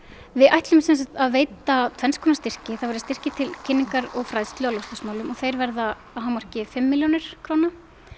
við ætlum að veita tvenns konar styrki það verða styrkir til kynningar og fræðslu á loftslagsmálum og þeir verða að hámarki fimm milljónir króna